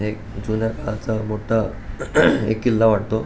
एक जुन्या काळाचा मोठा एक किल्ला वाटतो.